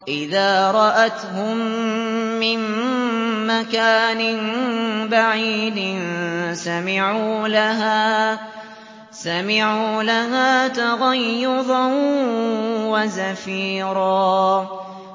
إِذَا رَأَتْهُم مِّن مَّكَانٍ بَعِيدٍ سَمِعُوا لَهَا تَغَيُّظًا وَزَفِيرًا